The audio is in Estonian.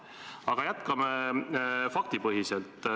Aga jätkame faktipõhiselt.